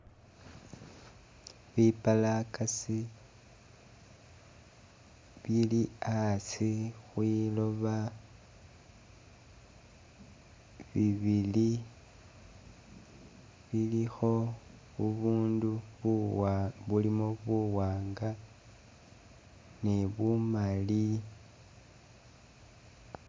Bipalaakasi bili a'asi khwilooba, bibili bilikho bubundu buwa bulimo buwaanga ni bumali